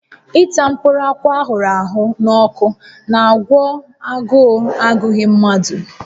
Ịta mkpụrụ akwụ a ahụrụ n'ọkụ n'àgwọ́ agụụ agụghị mmadụ